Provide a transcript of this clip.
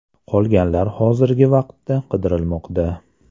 Qolganlar hozirgi vaqtda qidirilmoqda.